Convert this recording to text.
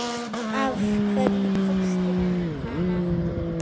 Af hverju tókstu hana ekki?